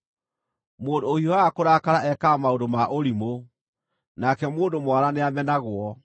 Mũndũ ũhiũhaga kũrakara ekaga maũndũ ma ũrimũ, nake mũndũ mwara nĩamenagwo.